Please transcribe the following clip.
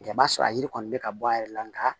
I b'a sɔrɔ a yiri kɔni bɛ ka bɔ a yɛrɛ la nka